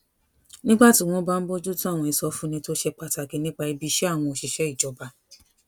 nígbà tí wón bá ń bójú tó àwọn ìsọfúnni tó ṣe pàtàkì nípa ibi iṣé àwọn òṣìṣé ìjọba